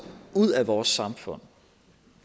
ud af vores samfund